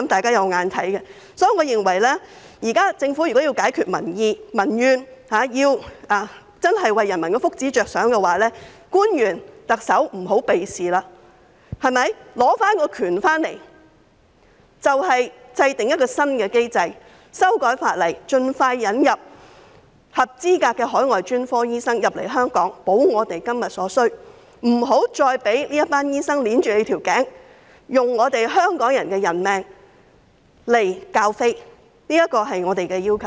所以，我認為政府現在若要消除民怨，為人民的福祉着想，特首和官員不要再迴避此事，應該取回主導權，制訂一項新機制，修改法例，盡快引入合資格的海外專科醫生來港，以滿足我們今天所需，不要再"揸頸就命"，任由這些醫生拿香港人的性命作賭注，這是我們的要求。